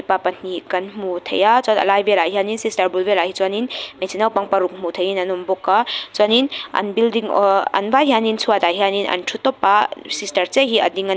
pa pahnih kan hmu thei a chuan alai velah hianin sister bul velah hi chuan in hmeichhe naupang paruk hmuh theihin an awmbawk a chuanin an building ahh an vai hianin chhuatah hianin hianin an thu tawp a sister chiah hi a ding a--